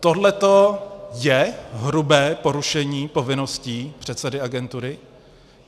Tohle je hrubé porušení povinností předsedy agentury?